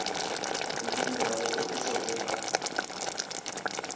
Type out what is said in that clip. go dumelela go oketšego ga